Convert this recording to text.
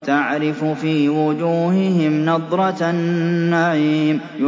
تَعْرِفُ فِي وُجُوهِهِمْ نَضْرَةَ النَّعِيمِ